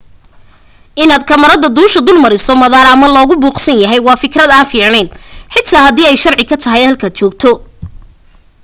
inaad kamarada duusha dul mariso madaar ama lagu buuqsan yahay waa fikrad aan fiicnayn xitaa hadii ay sharci ka tahay halkaad joogto